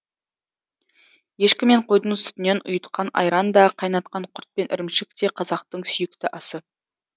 ешкі мен қойдың сүтінен ұйытқан айран да қайнатқан құрт пен ірімшік те қазақтың сүйікті асы